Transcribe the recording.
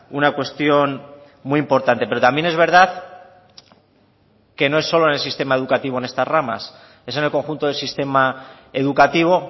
una cuestión muy importante pero también es verdad que no es solo en el sistema educativo en estas ramas es en el conjunto del sistema educativo